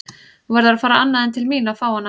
Þú verður að fara annað en til mín að fá hana.